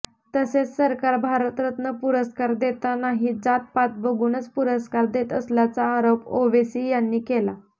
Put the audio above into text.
तसेच सरकार भारतरत्न पुरस्कार देतानाही जात पात बघूनच पुरस्कार देत असल्याचा आरोप ओवेसी यांनी केला